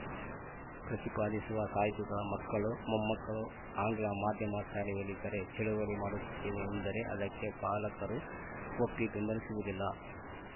ಪ್ರತಿಪಾದಿಸುವ ಸಾಹಿತಿಗಳ ಮಕ್ಕಳು ಮೊಮ್ಮಕ್ಕಳು ಆಂಗ್ಲ ಮಾಧ್ಯಮ ಶಾಲೆಯಲ್ಲಿದ್ದಾರೆ ಚಳವಳಿ ಮಾಡುತ್ತೇವೆ ಎಂದರೆ ಅದಕ್ಕೆ ಪಾಲಕರು ಒಪ್ಪಿ ಬೆಂಬಲಿಸುವುದಿಲ್ಲ